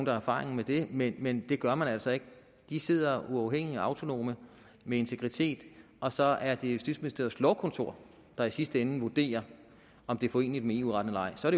har erfaring med det men men det gør man altså ikke de sidder uafhængigt og autonomt med integritet og så er det justitsministeriets lovkontor der i sidste ende vurderer om det er foreneligt med eu retten eller ej så er